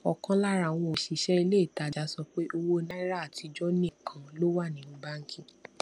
òkan lára àwọn òṣìṣé ilé ìtajà sọ pé owó náírà àtijó nìkan ló wà nínú báńkì